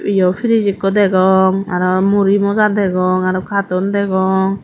fridge ekku degong aro muri moja degong aro kartun degong.